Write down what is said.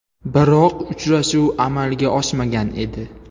Biroq uchrashuv amalga oshmagan edi.